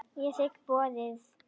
Ég þigg boðið.